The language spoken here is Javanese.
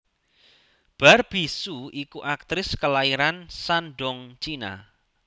Barbie hsu iku aktris kelairan Shandong China